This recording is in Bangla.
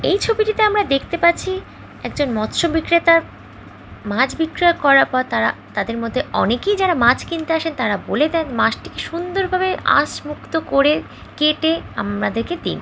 এই ছবিটিতে আমরা দেখতে পাচ্ছি একজন মৎস্য বিক্রেতার মাছ বিক্রিয়া করার পর তারা তাদের মধ্যে অনেকেই যারা মাছ কিনতে আসেন তারা বলে দেন মাছটিকে সুন্দরভাবে আঁশ মুক্ত করে কেটে আমাদেরকে দিন।